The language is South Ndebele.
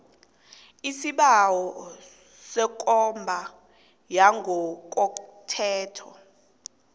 isibawo sekomba yangokothetho